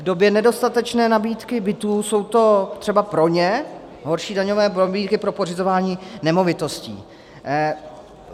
V době nedostatečné nabídky bytů jsou to třeba pro ně horší daňové pobídky pro pořizování nemovitostí.